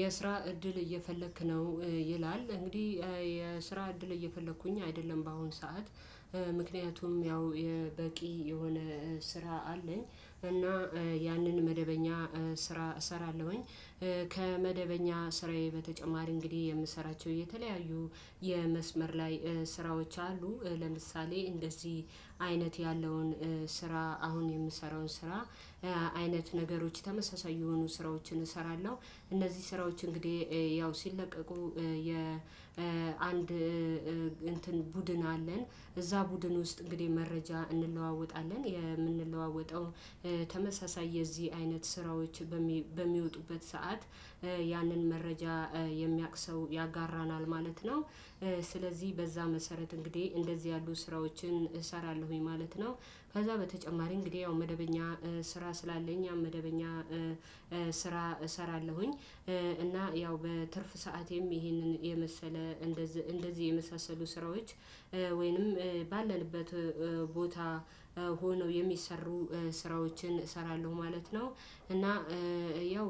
የስራ እድል እየፈለክ ነው ይላል። እንግዲህ የስራ እድል እየፈለኩኝ አይደለም በአሁን ሰዓት። ምክንያቱም ያው በቂ የሆነ ስራ አለኝ። እና ያንን መደበኛ ስራ እሰራለሁኝ። ከመደበኛ ስራዬ በተጨማሪ እንግዲህ የምሰራቸው የተለያዩ የመስመር ላይ ስራዎች አሉ። ለምሳሌ እንደዚህ አይነት ያለውን ስራ አሁን የምሰራውን ስራ አይነት ነገሮች ተመሳሳይ የሆኑ ስራዎችን እሰራለሁ። እነዚህ ስራዎች እንግዲህ ያው ሲለቀቁ የአንድ እንትን ቡድን አለን። እዛ ቡድን ውስጥ እንግዲህ መረጃ እንለዋወጣለን። የምንለዋወጠው ተመሳሳይ የዚህ አይነት ስራዎች በሚወጡበት ሰዓት ያንን መረጃ የሚያውቅ ሰው ያጋራናል ማለት ነው። ስለዚህ በዛ መሰረት እንግዲህ እንደዚህ ያሉ ስራዎችን እሰራለሁኝ ማለት ነው። ከዛ በተጨማሪ እንግዲህ ያው መደበኛ ስራ ስላለኝ ያው መደበኛ ስራ እሰራለሁኝ። እና ያው በትርፍ ሰዓቴም ይህንን የመሰለ እንደዚህ የመሳሰሉ ስራዎች ወይንም ባለንበት ቦታ ሆነው የሚሰሩ ስራዎችን እሰራለሁ ማለት ነው። እና ያው